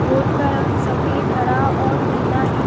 Boat का रंग सफ़ेद हरा और नीला हैं।